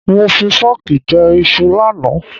Mo fi fọ́ọ̀kì jẹ iṣu lánàá.